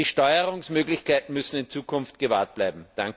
Also die Steuerungsmöglichkeiten müssen in Zukunft gewahrt bleiben.